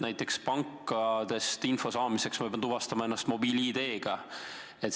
Näiteks nii, et pankadest info saamiseks ma pean tuvastama ennast mobiil-ID-ga.